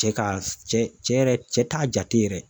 Cɛ ka cɛ yɛrɛ cɛ t'a jate yɛrɛ